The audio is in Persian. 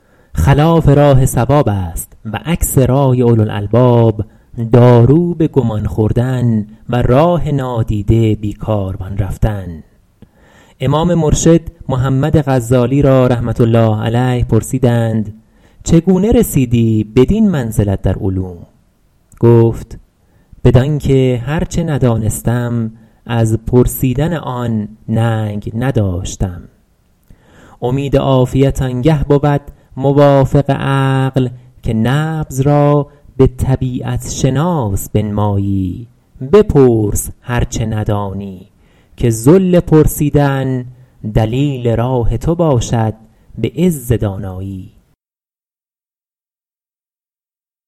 خلاف راه صواب است و عکس رای اولوالالباب دارو به گمان خوردن و راه نادیده بی کاروان رفتن امام مرشد محمد غزالی را رحمة الله علیه پرسیدند چگونه رسیدی بدین منزلت در علوم گفت بدان که هر چه ندانستم از پرسیدن آن ننگ نداشتم امید عافیت آن گه بود موافق عقل که نبض را به طبیعت شناس بنمایی بپرس هر چه ندانی که ذل پرسیدن دلیل راه تو باشد به عز دانایی